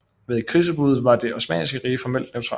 Ved krigsudbruddet var Det osmanniske rige formelt neutralt